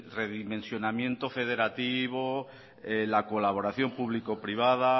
redimensionamiento federativo la colaboración público privada